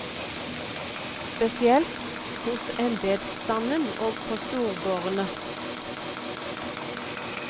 Spesielt hos embedsstanden og på storgårdene.